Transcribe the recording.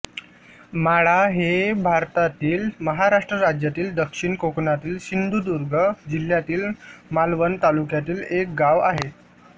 माळा हे भारतातील महाराष्ट्र राज्यातील दक्षिण कोकणातील सिंधुदुर्ग जिल्ह्यातील मालवण तालुक्यातील एक गाव आहे